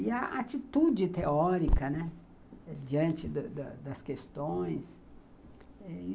E a atitude teórica, né, diante das questões.